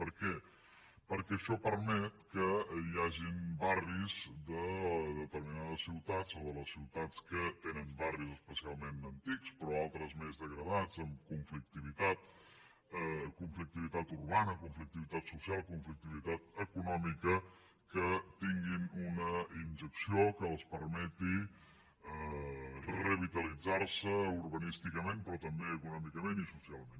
per què perquè això permet que hi hagin barris de determinades ciutats o de les ciutats que tenen barris especialment antics però altres més degradats amb con·flictivitat conflictivitat urbana conflictivitat social conflictivitat econòmica que tinguin una injecció que els permeti revitalitzar·se urbanísticament però tam·bé econòmicament i socialment